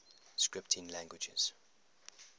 scripting languages